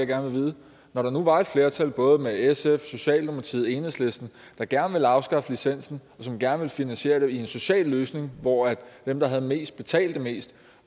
gerne vide når der nu var et flertal med både sf socialdemokratiet og enhedslisten der gerne ville afskaffe licensen som gerne ville finansiere det i en social løsning hvor dem der har mest også betaler mest